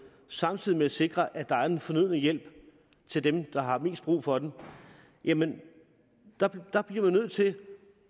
samtidig med at man sikrer at der er den fornødne hjælp til dem der har mest brug for den er man nødt til